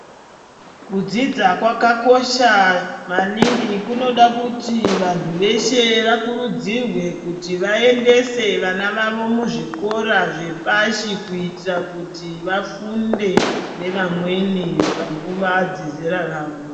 Kudzidza kwakakosha maningi. Kunoda kuti vantu veshe vakurudzirwe kuti vayendese vana vavo muzvikora zvepashi, kuyitira kuti vafunde nevamweni panguva dzezera ravo.